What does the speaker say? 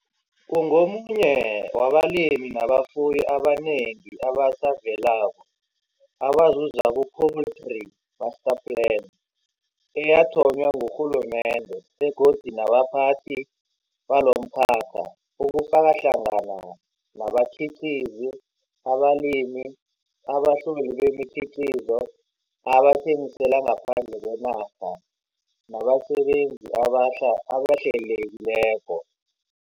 Ungomunye wabalimi nabafuyi abanengi abasavelako abazuza ku-Poultry Master Plan, eyathonywa ngurhulumende begodu nabaphathi balomkhakha, ukufaka hlangana nabakhiqizi, abalimi, abahloli bemikhiqizo abathengisela ngaphandle kwenarha nabasebenzi abahlelekileko.